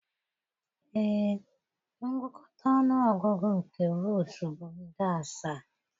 ee, ngụkọta ọnụ ọgụgụ nke vootu bụ nde asaa.